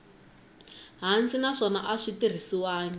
hansi naswona a swi tirhisiwangi